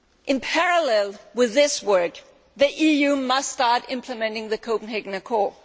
In parallel with this work, the EU must start implementing the Copenhagen Accord.